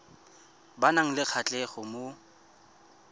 ba nang le kgatlhego mo